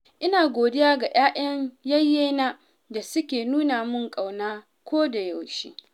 Ina godiya ga 'ya'yan yayyena da suke nuna min ƙauna kodayaushe.